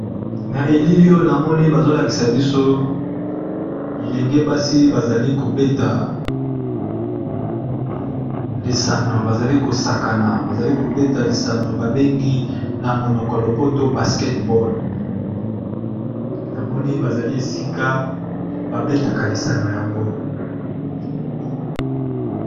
Na elili oyo, namoni bazolakisa biso bilenge basi bazali kobeta lisano, bazali kosakana. Bazali kobeta lisano, babengi na monoko ya lopoto basketball. Na moni bazali esika babetaka lisano yango.